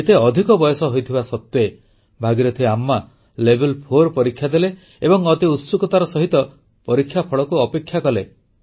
ଏତେ ଅଧିକ ବୟସ ହୋଇଥିବା ସତ୍ୱେ ଭାଗୀରଥି ଆମ୍ମା Level4 ପରୀକ୍ଷା ଦେଲେ ଏବଂ ଅତି ଉତ୍ସୁକତାର ସହିତ ପରୀକ୍ଷାଫଳକୁ ଅପେକ୍ଷା କଲେ